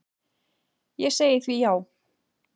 Ég segi því já.